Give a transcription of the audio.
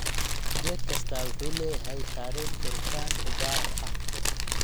Geed kastaa wuxuu leeyahay taariikh koritaan u gaar ah.